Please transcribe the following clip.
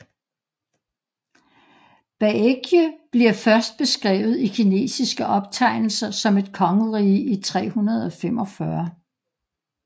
Baekje bliver først beskrevet i kinesiske optegnelser som et kongerige i 345